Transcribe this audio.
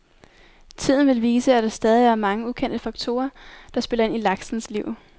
Tiden vil vise, at der stadig er mange ukendte faktorer, der spiller ind i laksens liv.